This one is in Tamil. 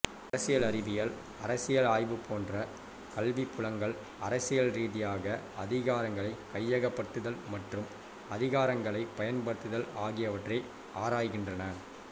அரசியல் அறிவியல் அரசியல் ஆய்வு போன்ற கல்விப்புலங்கள் அரசியல் ரீதியாக அதிகாரங்களைக் கையகப்படுத்தல் மற்றும் அதிகாரங்களைப் பயன்படுத்துதல் ஆகியவற்றை ஆராய்கின்றன